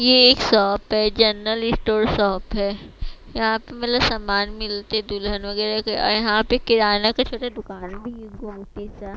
ये एक शॉप है जनरल स्टोर शॉप है यहां पे पहले समान मिलते दुल्हन वगैरह के और यहां पे किराना का छोटा दुकान भी है सा।